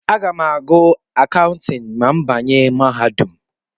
Aga m ágụ̀ Akawntịn ma m banye na mahadum.